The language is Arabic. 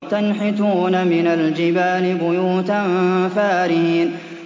وَتَنْحِتُونَ مِنَ الْجِبَالِ بُيُوتًا فَارِهِينَ